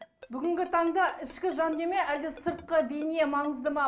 бүгінгі таңда ішкі жандүние ме әлде сыртқы бейне маңызды ма